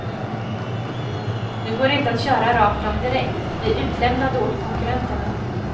Nu går det inte att köra rakt fram direkt, vi är utlämnade åt konkurrenterna.